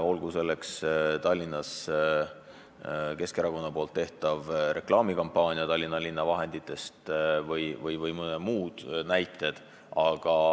Olgu näiteks toodud pealinnas Keskerakonna tehtud reklaamikampaania Tallinna linna raha eest või mõned muud juhtumid.